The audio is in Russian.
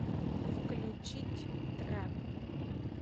включить трэп